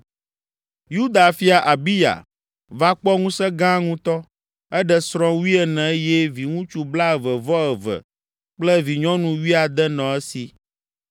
Yuda fia, Abiya, va kpɔ ŋusẽ gã ŋutɔ. Eɖe srɔ̃ wuiene eye viŋutsu blaeve-vɔ-eve kple vinyɔnu wuiade nɔ esi.